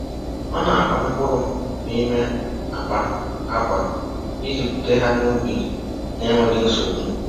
Ọ na-akwa mkpụrụ n’ime akpa akwa iji bute ha n’ubi n’enweghị nsogbu.